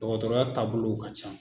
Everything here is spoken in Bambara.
Dɔgɔtɔrɔya taabolow ka ca.